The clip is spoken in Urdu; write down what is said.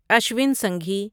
اشوین سنگھی